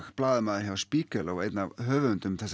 blaðamaður hjá Spiegel og einn af höfundum